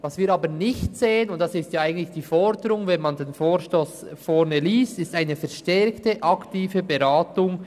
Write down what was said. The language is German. Was wir aber nicht sehen – und das ist eigentlich die Forderung, wenn man den Vorstoss liest –, ist eine verstärkte aktive Beratung.